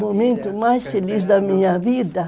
Momento mais feliz da minha vida?